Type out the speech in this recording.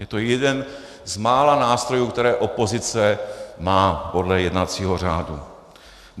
Je to jeden z mála nástrojů, které opozice má podle jednacího řádu.